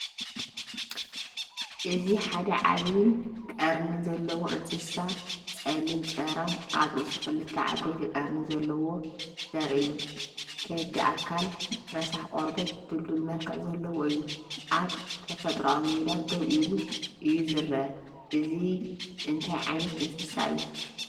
እዚ ሓደ ዓቢን ቀርኒ ዘለዎን እንስሳ -ጸሊም ጭራም - ኣብ ርእሱ ክልተ ዓበይቲ ቀርኒ ዘለዎ ዘርኢ እዩ። ከቢድ ኣካል፡ ረሳሕ ቆርበት፡ ድልዱል መልክዕ ዘለዎ እዩ። ኣብ ተፈጥሮኣዊ ሜዳ ደው ኢሉ እዩ ዝረአ። እዚ እንታይ ዓይነት እንስሳ እዩ?